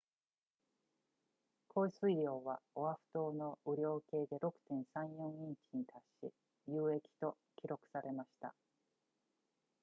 降水量はオアフ島の雨量計で 6.34 インチに達し有益と記録されました